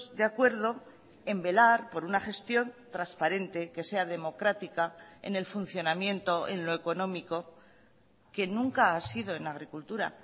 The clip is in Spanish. de acuerdo en velar por una gestión transparente que sea democrática en el funcionamiento en lo económico que nunca ha sido en agricultura